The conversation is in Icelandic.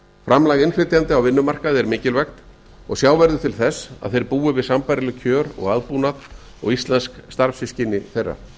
framlag innflytjenda á vinnumarkaði er mikilvægt og sjá verður til þess að þeir búi við sambærileg kjör og aðbúnað og íslensk starfssystkini þeirra